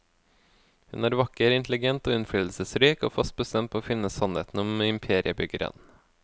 Hun er vakker, intelligent og innflytelsesrik, og fast bestemt på å finne sannheten om imperiebyggeren.